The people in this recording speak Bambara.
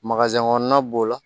kɔnɔna b'o la